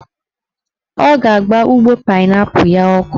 Ọ ga-agba ụgbọ painaipu ya ọkụ